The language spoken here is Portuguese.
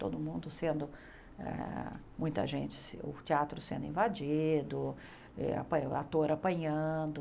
Todo mundo sendo eh... Muita gente... O teatro sendo invadido, ah apa o ator apanhando...